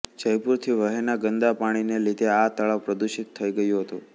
જયપુરથી વહેનાં ગંદા પાણીને લીધે આ તળાવ પ્રદુષિત થઈ ગયું હતું